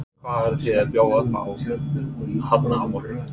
Hvað eruð þið að bjóða upp á hérna á morgun?